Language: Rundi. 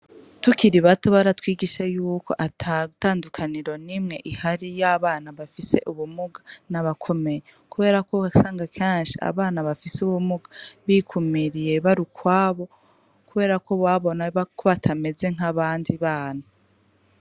Tukiri bato baratwigishije y'uko ata tandukaniro nimwe ihari y'abana bafise ubumuga n'abakomeye. Kubera ko wasanga kenshi abana bafise ubumuga bikumiriye bari ukwabo, kubera ko babona ko batameze nk'abandi bana .